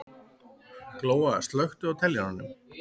Glóa, slökktu á niðurteljaranum.